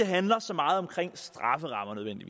handler så meget om strafferammerne de